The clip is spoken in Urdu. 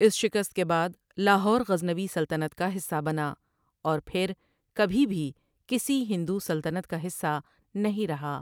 اس شکست کے بعد لاہور غزنوی سلطنت کا حصہ بنا اور پھر کبھی بھی کسی ہندو سلطنت کا حصہ نہیں رہا ۔